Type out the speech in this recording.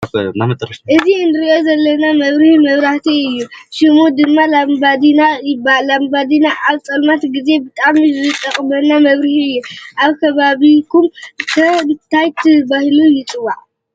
እዚ እንርእዮ ዘለና መብርሂ መብራእቲ እዩ። ሽሙ ድማ ላምባዲና ይባሃል። ላምባዲና ኣብ ፀልማት ግዜ ብጣዕሚ ዝጠቅመና መብርሂ እዩ። ኣብ ከባቢኩም ከ ታይ ተባሂሉ ይፅዋዕ?